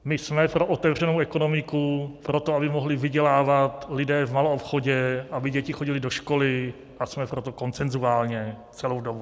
My jsme pro otevřenou ekonomiku, pro to, aby mohli vydělávat lidé v maloobchodě, aby děti chodily do školy, a jsme pro to konsenzuálně celou dobu.